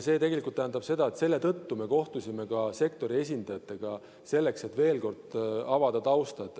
See tähendab, et selle tõttu me kohtusime ka sektori esindajatega, selleks et veel kord avada tausta.